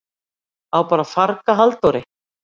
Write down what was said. Á bara að farga Halldóri?